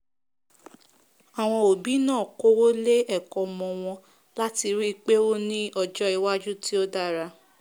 àwọn òbí náà kówó lé ẹ̀kọ́ ọmọ wọn láti ríi pé ó ní ọjọ́ iwájú tí ó dára